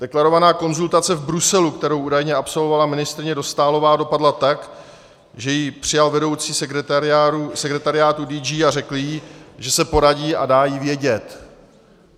Deklarovaná konzultace v Bruselu, kterou údajně absolvovala ministryně Dostálová, dopadla tak, že ji přijal vedoucí sekretariátu DG a řekl jí, že se poradí a dá jí vědět.